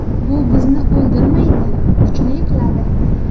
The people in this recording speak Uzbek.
Bu bizni o‘ldirmaydi, kuchli qiladi!